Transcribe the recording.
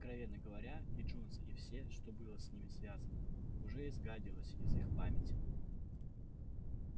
откровенно говоря и джонс и все что было с ним связано уже изгадилось из их памяти